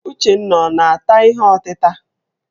Uchenna ọ na-ata ihe ọtịta?